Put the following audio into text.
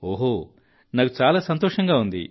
ఓహో నాకు చాలా సంతోషంగా ఉంది